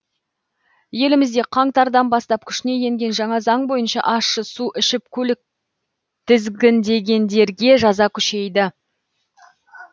елімізде қаңтардан бастап күшіне енген жаңа заң бойынша ащы су ішіп көлік тізгіндегендерге жаза күшейді